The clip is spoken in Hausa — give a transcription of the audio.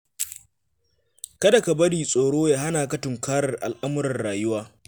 Kada ka bari tsoro ya hana ka tunkarar al'amuran rayuwa.